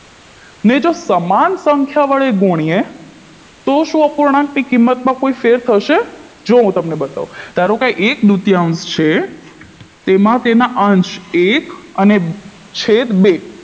ને જો તમામ સંખ્યા વડે ગુણીએ તો શું અપૂર્ણાંકની કિંમતમાં કોઈ ફેર થશે જો હું તમને બતાવું ધારો કે એક દૂતયાંશ છે તેમાં તેના અંશ એક અને છેદ બે